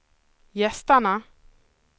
gästerna